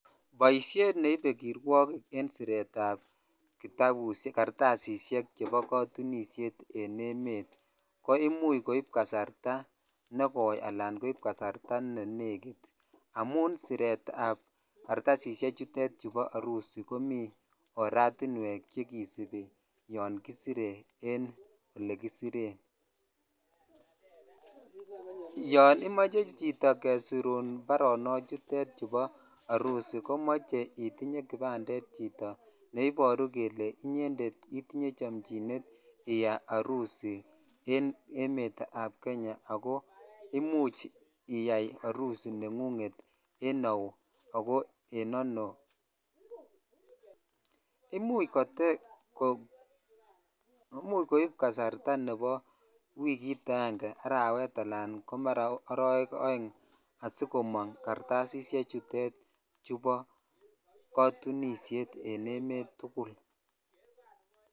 Boishet nebe kirwokik en siretab jartasishen chebo katunishet en emet ko imuch koib kasarta nekoi ala ko ne nenekit amun siret sb kartasishe chutet chubo arusi komi oratiwek chekisibi yoon kisire en ole kisiren (puse)yon imoche chito jesirun barok chutet bo harusi komoe intinye chito kipandet ne iboru kele ala itinye chamchinet iyai harusi en emet ab Kenya ako imuch iyai harusi nenguget en au ako en ano imuch koib kasarta wikit ange arawet ala ko arowek oeng asikomong kartasishe tutet bo kotunishet en emet tugul.